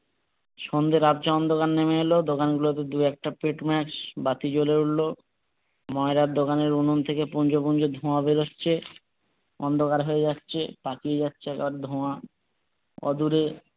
সন্ধ্যের আবছা অন্ধকার নেমে এলেও দোকান গুলোতে দু একটা পেটমাস বাতি জলে উঠলো ময়রার দোকানের উনুন থেকে পুঞ্জ পুঞ্জ ধোঁয়া বের হচ্ছে অন্ধকার হয়ে যাচ্ছে পাকিয়ে যাচ্ছে সব ধোঁয়া, অদূরে